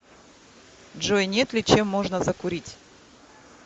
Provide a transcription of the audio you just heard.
джой нет ли чем можно закурить